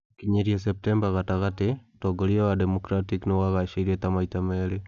Gũkinyĩria Septemba gatagatĩ, ũtongoria wa Democratic nĩwaagashaĩre ta maita merĩ.